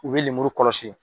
U bi lemuru kɔlɔsi